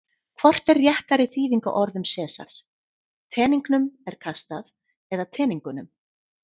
Hvort er réttari þýðing á orðum Sesars: Teningnum er kastað eða Teningunum?